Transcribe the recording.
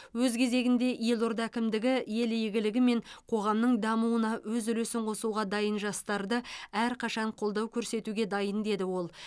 өз кезегінде елорда әкімдігі ел игілігі мен қоғамның дамуына өз үлесін қосуға дайын жастарды әрқашан қолдау көрсетуге дайын деді ол